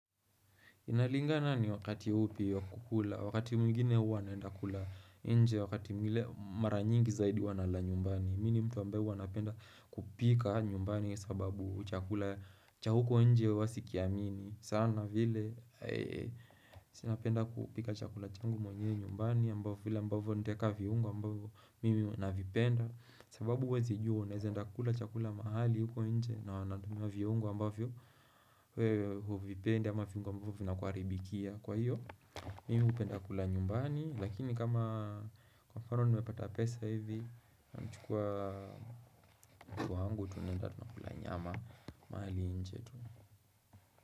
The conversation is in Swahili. Inalingana ni wakati upi wa kukula, wakati mwingine huwa naenda kula nje, wakati mwingile mara nyingi zaidi huwa nala nyumbani. Mi ni mtu ambae huwa napenda kupika nyumbani sababu chakula cha huko nje huwa sikiamini. Sana vile si napenda kupika chakula changu mwenyewe nyumbani ambavyo vile ambavyo ntaeka viungo ambavyo mimi navipenda. Sababu huwezi jua na unaeza enda kula chakula mahali huko nje na wanatumia viungo ambavyo wewe huvipendi ama viungo ambavyo vinakuharibikia kwa hiyo Mimi hupenda kula nyumbani lakini kama kwa mfano nimepata pesa hivi nachukua mpoa wangu tunaenda tunakula nyama mahali nje tu.